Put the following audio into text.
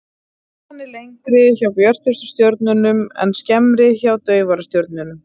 Lotan er lengri hjá björtustu stjörnunum en skemmri hjá daufari stjörnum.